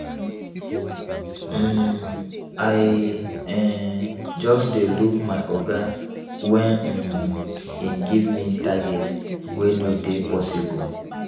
um I um just dey look my oga wen um im give me target wey no dey possible.